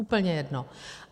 Úplně jedno.